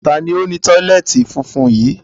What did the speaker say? Taàní ó ni tọ́lẹ́ẹ́tì funfun yí?